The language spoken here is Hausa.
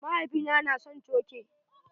Mahaifina na son coke.